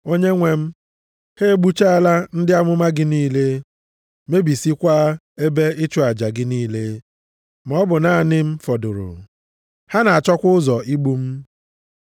“Onyenwe m, ha egbuchala ndị amụma gị niile, mebisiekwa ebe ịchụ aja gị niile, maọbụ naanị m fọdụrụ. Ha na-achọkwa ụzọ igbu m.” + 11:3 \+xt 1Ez 19:10,14\+xt*